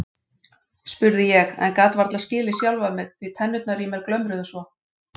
spurði ég en gat varla skilið sjálfa mig því tennurnar í mér glömruðu svo.